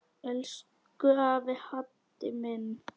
Elsku afi Haddi minn.